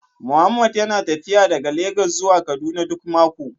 Mohammed yana tafiya daga Legas zuwa Kaduna duk mako